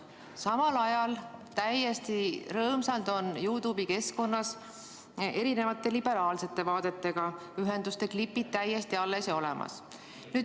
Samal ajal on täiesti rõõmsalt YouTube'i keskkonnas erisuguste liberaalsete vaadetega ühenduste klipid alles ja olemas.